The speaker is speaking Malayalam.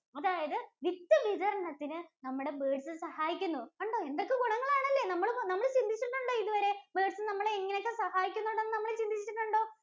അതായത് വിത്ത് വിതരണത്തിന് നമ്മുടെ birds സഹായിക്കുന്നു. കണ്ടോ എന്തൊക്കെ ഗുണങ്ങൾ ആണല്ലേ? നമ്മള് നമ്മൾ ചിന്തിച്ചിട്ടുണ്ടോ ഇതുവരെ birds നമ്മളെ ഇങ്ങനെ ഒക്കെ സഹായിക്കുന്നുണ്ടെന്ന് എന്ന് നമ്മൾ ചിന്തിച്ചിട്ടുണ്ടോ?